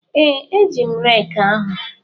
Ee, eji m reeki ahụ.